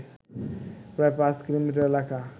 প্রায় পাঁচ কিলোমিটার এলাকা